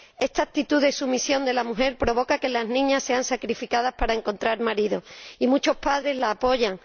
Esta actitud de sumisión de la mujer provoca que las niñas sean sacrificadas para encontrar marido y muchos padres la apoyan.